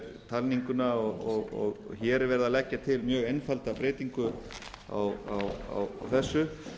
talninguna og hér er verið að leggja til mjög einfalda breyting á þessu